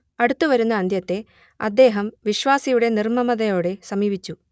അടുത്തുവരുന്ന അന്ത്യത്തെ അദ്ദേഹം വിശ്വാസിയുടെ നിർമ്മമതയോടെ സമീപിച്ചു